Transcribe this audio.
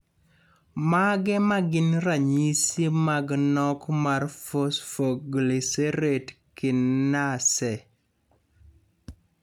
Mage magin ranyisi mag nok mar Phosphoglycerate kinase?